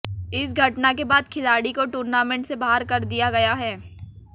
इस घटना के बाद खिलाड़ी को टूर्नामेंट से बाहर कर दिया गया है